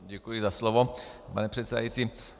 Děkuji za slovo, pane předsedající.